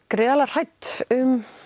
gríðarlega hrædd um